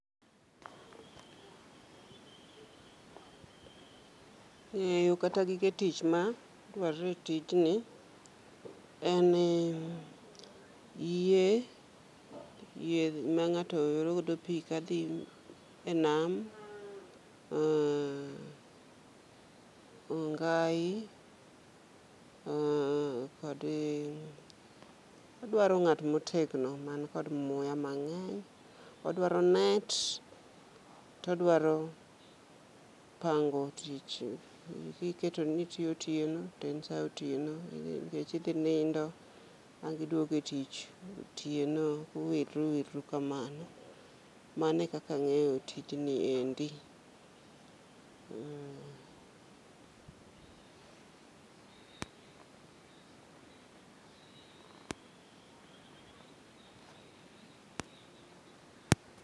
Ng'eyo kata gige tich ma dwarore etijni eni yie, yie mang'ato yoro godo pii kadhii enam. Oo ongai oo kodi odwaro ng'at motegno man kod muya mang'eny. Odwaro net todwaro pango tich kiketoni itiyo otieno to en saa otieno nikech idhii nindo angi duogo etich otieno uwilru uwilru kamano. Mano ekaka ang'eyo tijni endi. Mm